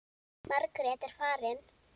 Margrét er farin.